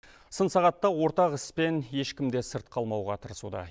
сын сағатта ортақ іспен ешкім де сырт қалмауға тырысуда